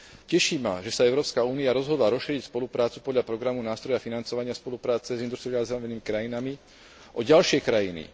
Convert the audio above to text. Teší ma, že sa Európska únia rozhodla rozšíriť spoluprácu podľa programu nástroja financovania spolupráce s industrializovanými krajinami o ďalšie krajiny.